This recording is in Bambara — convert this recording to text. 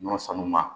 Ɲɔ sanuba